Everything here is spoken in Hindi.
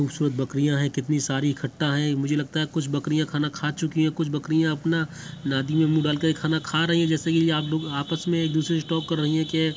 खूबसूरत बकरियाँ है कितनी सारी इकट्ठा है मुझे लगता है कुछ बकरियाँ खाना खा चुकी है कुछ बकरियाँ अपना नादी में मुँह डाल के खाना खा रही है जैसे के आप लोग आपस में एक-दूसरे से टॉक कर रही है के --